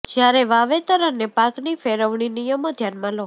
જ્યારે વાવેતર અને પાકની ફેરવણી નિયમો ધ્યાનમાં લો